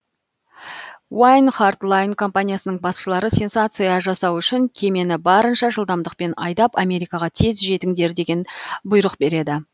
уайн харт лайн компаниясының басшылары сенсация жасау үшін кемені барынша жылдамдықпен айдап америкаға тез жетіңдер деген бұйрық береді